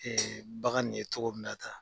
bagan nin ye cogo min na tan.